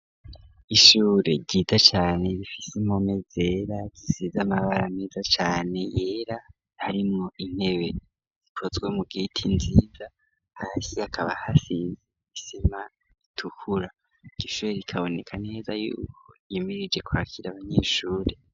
Ishure ryiza cane rifise impome zera zisize amabara meza cane yera harimwo intebe zikozwe mu giti nziza hasi hakaba hasize isima itukura iryoshure rikaboneka neza yuko yimirije kwakira abanyeshure.